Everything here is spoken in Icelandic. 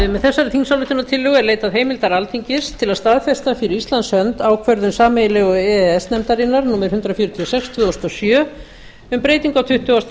með þessari þingsályktunartillögu er leitað heimildar alþingis til að staðfesta fyrir íslands hönd ákvörðun sameiginlegu e e s nefndarinnar númer hundrað fjörutíu og sex tvö þúsund og sjö um breytingu á tuttugasta